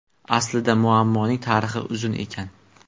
Aslida muammoning tarixi uzun ekan.